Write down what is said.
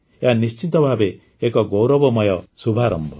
ଏହା ନିଶ୍ଚିତ ଭାବେ ଏକ ଗୌରବମୟ ଶୁଭାରମ୍ଭ